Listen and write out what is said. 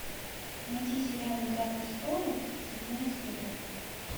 найти сериал игра престолов седьмая серия